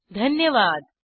सहभागासाठी धन्यवाद